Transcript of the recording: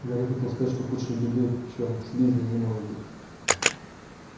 гарри хотел сказать что худшей беды чем слизни не может быть